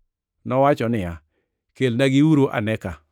Nowacho niya, “Kelnagiuru ane ka.”